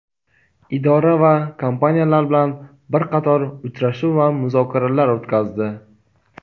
idora va kompaniyalar bilan bir qator uchrashuv va muzokaralar o‘tkazdi.